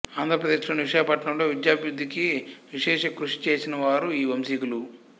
ఆంధ్రప్రదేశ్ లోని విశాఖపట్నం లో విద్యాభివృద్ధికి విశేష కృషి చేసిన వారు ఈ వంశీకులు